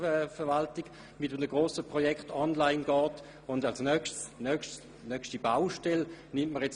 Man arbeitet in einem Grossen Projekt daran, dass die Geschäftsverwaltung online geht.